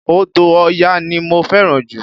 Odò Ọya ní mo fẹ́ràn jù